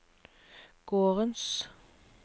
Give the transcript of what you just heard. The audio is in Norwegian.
gårdens